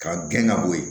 K'a gɛn ka bɔ yen